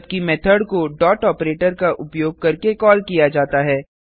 जबकि मेथड को dot operator का उपयोग करके कॉल किया जाता है